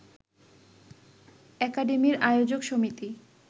একাডেমির আয়োজক সমিতি